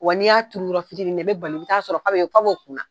Wa n'i y'a turu yɔrɔfitinn na, i be bali, i be sɔrɔ f'o kisɛ